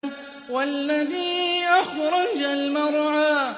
وَالَّذِي أَخْرَجَ الْمَرْعَىٰ